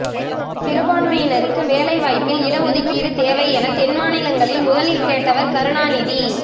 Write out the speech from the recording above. சிறுபான்மையினருக்கு வேலை வாய்ப்பில் இட ஒதுக்கீடு தேவை என தென் மாநிலங்களில் முதலில் கேட்டவர் கருணாநிதி